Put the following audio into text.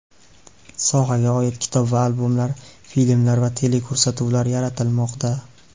Sohaga oid kitob va albomlar, filmlar va teleko‘rsatuvlar yaratilmoqda.